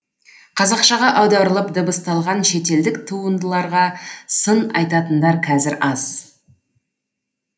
қазақшаға аударылып дыбысталған шетелдік туындыларға сын айтатындар қазір аз